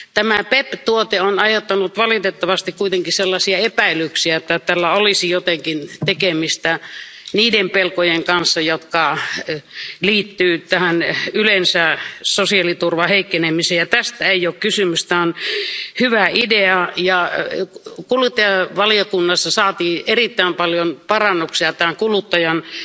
Tämä PEPP tuote on aiheuttanut valitettavasti kuitenkin sellaisia epäilyksiä, että tällä olisi jotenkin tekemistä niiden pelkojen kanssa, jotka liittyvät tähän yleensä sosiaaliturvan heikkenemisen, mutta tästä ei ole kysymys. Tämä on hyvä idea ja kuluttajavaliokunnassa saatiin erittäin paljon parannuksia tämän kuluttajansuojan